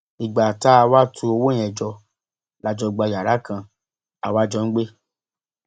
ìgbà tá a wáá tu owó yẹn jọ la jọ gba yàrá kan a wàá jọ ń gbé